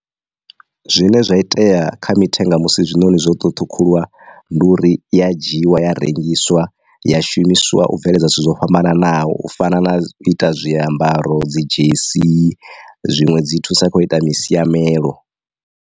Zwine zwa itea kha mithenga musi zwiṋoni zwo to ṱhukhuliwa ndi uri iya dzhiiwa ya rengiswa ya shumiswa u bveledza zwithu zwo fhambananaho u fana na u ita zwiambaro dzi dzhesi zwiṅwe dzi thusa kho ita masiamelo.